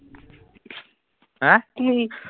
হা